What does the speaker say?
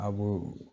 A b'o